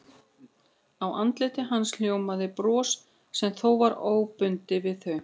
Af andliti hans ljómaði bros sem þó var óbundið við þau.